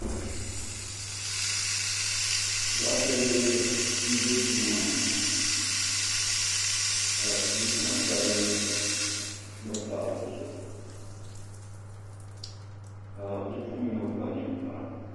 duɣate bihi m-be duu ŋɔ ni ŋɔ ka bipuɣinsi ayi gba pahi bɛ zuɣu ka bipuɣin' yino kpa ninkpara.